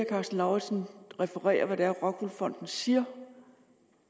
karsten lauritzen referere hvad det er rockwool fonden siger